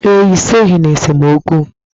Ee, I soghi n'esemokwu.